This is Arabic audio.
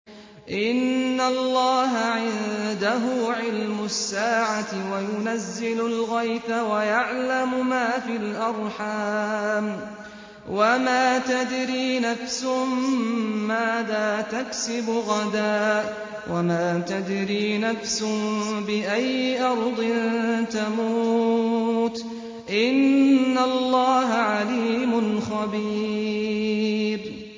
إِنَّ اللَّهَ عِندَهُ عِلْمُ السَّاعَةِ وَيُنَزِّلُ الْغَيْثَ وَيَعْلَمُ مَا فِي الْأَرْحَامِ ۖ وَمَا تَدْرِي نَفْسٌ مَّاذَا تَكْسِبُ غَدًا ۖ وَمَا تَدْرِي نَفْسٌ بِأَيِّ أَرْضٍ تَمُوتُ ۚ إِنَّ اللَّهَ عَلِيمٌ خَبِيرٌ